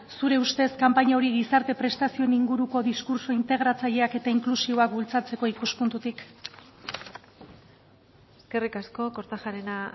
zure ustez kanpaina hori gizarte prestazioen inguruko diskurtso integratzaileak eta inklusiboak bultzatzeko ikuspuntutik eskerrik asko kortajarena